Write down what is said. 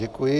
Děkuji.